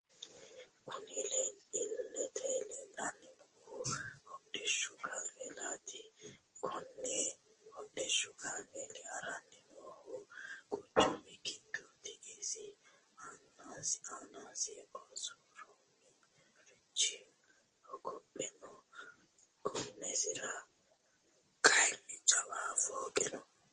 Kunni illete leelani noohu hodhishshu kaamelati kunni hodhishshu kaameli harani noohu quchumu giddoti isi aanasi osuramoricho hogope no gonnesira kayiini jawa fooqqe no .